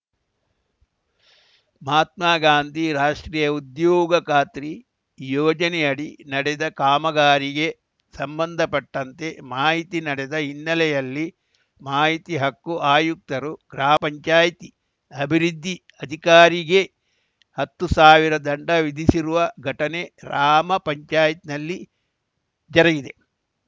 ಮಹಾತ್ಮ ಗಾಂಧಿ ರಾಷ್ಟ್ರೀಯ ಉದ್ಯೋಗ ಖಾತ್ರಿ ಯೋಜನೆಯಡಿ ನಡೆದ ಕಾಮಗಾರಿಗೆ ಸಂಬಂಧಪಟ್ಟಂತೆ ಮಾಹಿತಿ ನಡದ ಹಿನ್ನೆಲೆಯಲ್ಲಿ ಮಾಹಿತಿ ಹಕ್ಕು ಆಯುಕ್ತರು ಗ್ರಾಮ ಪಂಚಾಯಿತಿ ಅಭಿವೃದ್ಧಿ ಅಧಿಕಾರಿಗೆ ಹತ್ತು ಸಾವಿರ ದಂಡ ವಿಧಿಸಿರುವ ಘಟನೆ ರಾಮ ಪಂಚಾಯಲ್ಲಿ ಜರುಗಿದೆ